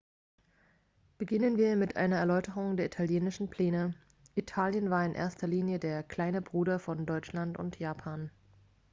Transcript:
beginnen wir mit einer erläuterung der italienischen pläne italien war in erster linie der kleine bruder von deutschland und japan